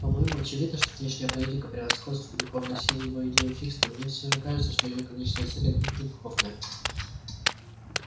по-моему очевидно что внешняя политика превосходства духовных сил его идея фикс но мне все же кажется что её конечная цель отнюдь не духовная